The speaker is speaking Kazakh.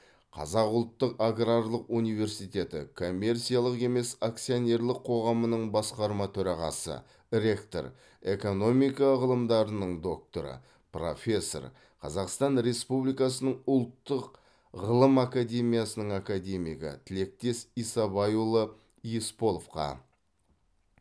қазақ ұлттық аграрлық университеті коммерциялық емес акционерлік қоғамының басқарма төрағасы ректор экономика ғылымдарының докторы профессор қазақстан республикасының ұлттық ғылым академиясының академигі тілектес исабайұлы есполовқа